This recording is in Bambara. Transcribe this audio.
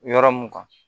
Yɔrɔ mun kan